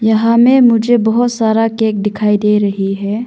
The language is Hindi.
यहां मे मुझे बहुत सारा केक दिखाई दे रही है।